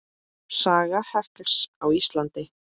Saga hekls á Íslandi